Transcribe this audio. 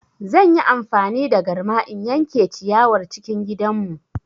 Zan yi amfani da garma in yanke ciyawar cikin gidanmu.